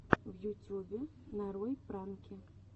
в ютюбе нарой пранки